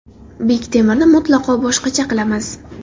Bektemirni mutlaqo boshqacha qilamiz.